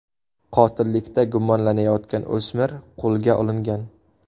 Qotillikda gumonlanayotgan o‘smir qo‘lga olingan.